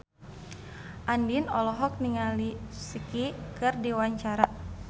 Andien olohok ningali Psy keur diwawancara